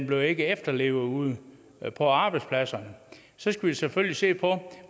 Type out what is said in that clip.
blev efterlevet ude på arbejdspladserne så skal vi selvfølgelig se på